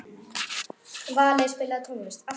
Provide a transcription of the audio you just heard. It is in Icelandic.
Alfreð, opnaðu dagatalið mitt.